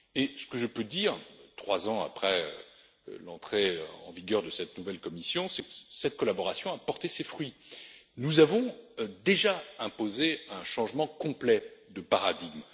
Ce que je peux dire, trois ans après l'entrée en vigueur de cette nouvelle commission, c'est que cette collaboration a porté ses fruits nous avons déjà imposé un changement complet de paradigme.